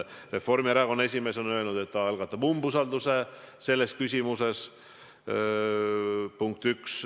Reformierakonna esimees on öelnud, et ta algatab umbusalduse selles küsimuses.